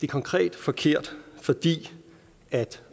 konkret forkert fordi